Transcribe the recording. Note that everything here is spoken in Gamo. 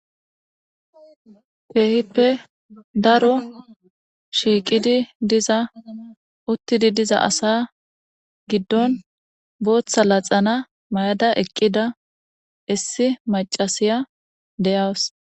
keehippe daro shiiqidi diza uttidi diza asa giddon booththa laxana mayada eqqida issi macasiya deyaws